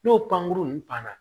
N'o pankurun nunnu banna